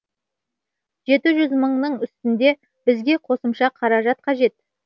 жеті жүз мыңның үстінде бізге қосымша қаражат қажет